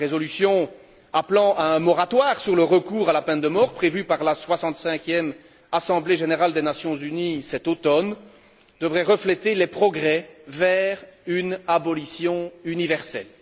La résolution appelant à un moratoire sur le recours à la peine de mort prévue par la soixante cinquième Assemblée générale des Nations unies cet automne devrait refléter les progrès vers une abolition universelle.